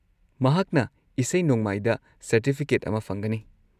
ꯃꯍꯥꯛꯅ ꯏꯁꯩ-ꯅꯣꯡꯃꯥꯏꯗ ꯁꯔꯇꯤꯐꯤꯀꯦꯠ ꯑꯃ ꯐꯪꯒꯅꯤ꯫